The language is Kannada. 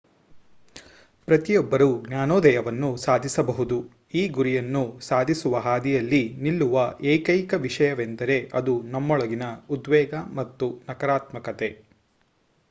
ಪ್ರತಿಯೊಬ್ಬರೂ ಜ್ಞಾನೋದಯವನ್ನು ಸಾಧಿಸಬಹುದು ಈ ಗುರಿಯನ್ನು ಸಾಧಿಸುವ ಹಾದಿಯಲ್ಲಿ ನಿಲ್ಲುವ ಏಕೈಕ ವಿಷಯವೆಂದರೆ ಅದು ನಮ್ಮೊಳಗಿನ ಉದ್ವೇಗ ಮತ್ತು ನಕಾರಾತ್ಮಕತೆ